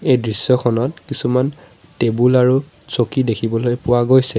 এই দৃশ্যখনত কিছুমান টেবুল আৰু চকী দেখিবলৈ পোৱা গৈছে।